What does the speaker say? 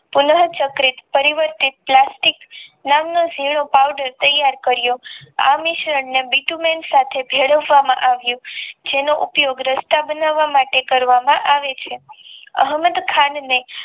પુનઃ ચક્રીત પરિવર્તિત પ્લાસ્ટિક નામનો જીણો પાવડર તૈયાર કર્યો આ મિશ્રણને બીતુંલન સાથે ભેળવવામાં આવે છે જેનો ઉપયોગ રસ્તા બનાવામાટે કર્યો છે અહમદખાંને